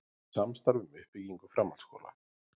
Samstarf um uppbyggingu framhaldsskóla